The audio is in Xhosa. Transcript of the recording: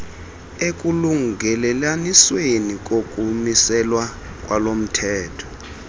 ekulungelelanisweni kokumiselwa kwalomthetho